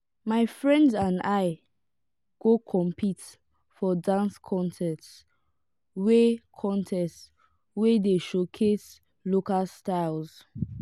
my friends and i go compete for dance contest wey contest wey dey showcase local styles.